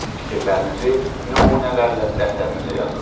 Fikirlərinizi nümunələrlə dəftərinizə yazın.